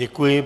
Děkuji.